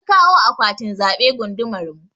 An kawo akwatin zaɓe gundumar mu.